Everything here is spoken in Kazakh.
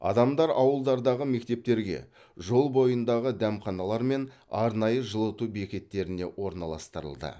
адамдар ауылдардағы мектептерге жол бойындағы дәмханалар мен арнайы жылыту бекеттеріне орналастырылды